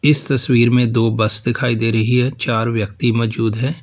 इस तस्वीर में दो बस दिखाई दे रही है चार व्यक्ति मौजूद है।